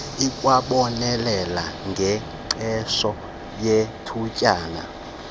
ikwabonelela ngengqesho yethutyana